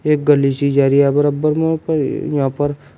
एक गली सी जा रही है बराबर यहां पर--